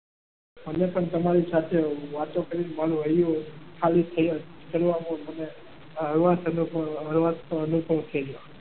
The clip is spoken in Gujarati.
મને પણ તમારી સાથે વાતો કરી મન મન હૈયું ખાલી કરવામાં મને હળવાશ અનુભવ થયો.